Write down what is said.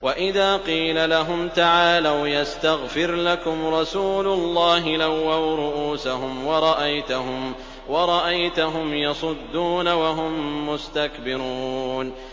وَإِذَا قِيلَ لَهُمْ تَعَالَوْا يَسْتَغْفِرْ لَكُمْ رَسُولُ اللَّهِ لَوَّوْا رُءُوسَهُمْ وَرَأَيْتَهُمْ يَصُدُّونَ وَهُم مُّسْتَكْبِرُونَ